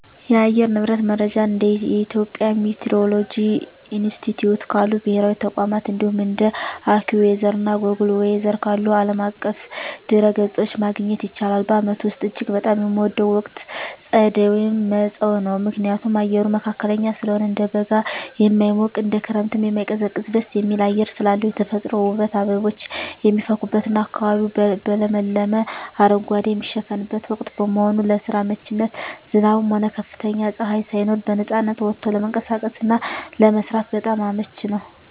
የአየር ንብረት መረጃን እንደ የኢትዮጵያ ሚቲዎሮሎጂ ኢንስቲትዩት ካሉ ብሔራዊ ተቋማት፣ እንዲሁም እንደ AccuWeather እና Google Weather ካሉ ዓለም አቀፍ ድረ-ገጾች ማግኘት ይቻላል። በዓመቱ ውስጥ እጅግ በጣም የምወደው ወቅት ጸደይ (መጸው) ነው። ምክንያቱም፦ አየሩ መካከለኛ ስለሆነ፦ እንደ በጋ የማይሞቅ፣ እንደ ክረምትም የማይቀዘቅዝ ደስ የሚል አየር ስላለው። የተፈጥሮ ውበት፦ አበቦች የሚፈኩበትና አካባቢው በለመለመ አረንጓዴ የሚሸፈንበት ወቅት በመሆኑ። ለስራ አመቺነት፦ ዝናብም ሆነ ከፍተኛ ፀሐይ ሳይኖር በነፃነት ወጥቶ ለመንቀሳቀስና ለመስራት በጣም አመቺ ነው።